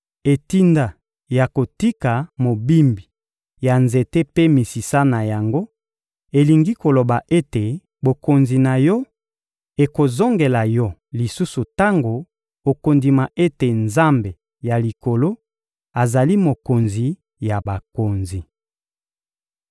Etinda ya kotika mobimbi ya nzete mpe misisa na yango elingi koloba ete bokonzi na yo ekozongela yo lisusu tango okondima ete Nzambe ya likolo azali Mokonzi ya bakonzi.